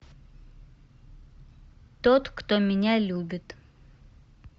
тот кто меня любит